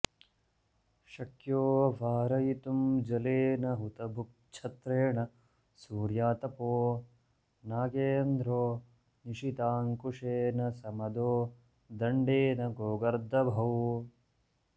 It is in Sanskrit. शक्यो वारयितुं जलेन हुतभुक्छत्रेण सूर्यातपो नागेन्द्रो निशिताङ्कुशेन समदो दण्डेन गोगर्दभौ